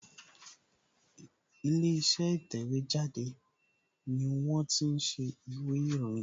Ilé iṣẹ́ ìtẹ̀wẹ́ jáde ni wón ti ń ṣe ìwé ìròyìn